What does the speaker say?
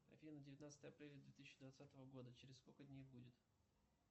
афина девятнадцатое апреля две тысячи двадцатого года через сколько дней будет